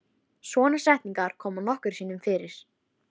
Svona setningar koma nokkrum sinnum fyrir.